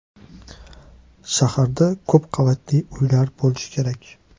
Shaharda ko‘p qavatli uylar bo‘lishi kerak.